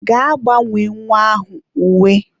Gaa gbanwee nwa ahụ uwe.